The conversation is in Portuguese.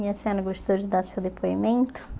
E a senhora gostou de dar seu depoimento?